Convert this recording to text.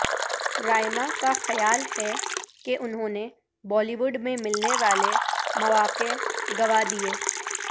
رائما کا خیال ہے کہ انھوں نے بالی وڈ میں ملنے والے مواقع گنوا دیے